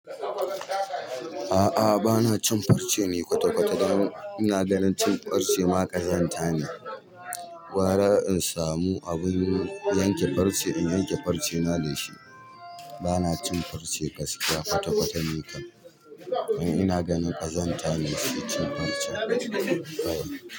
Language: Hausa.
A'a bana cin farce ne kwata-kwata. Dan ina ganin cin farce ma ƙazanta ne. Gwara un samu abin yanke farce in yanke farce na da shi. Bana cin farce gaskiya kwata-kwata ni kam. Ina ganin ƙazanta ne shi cin farce.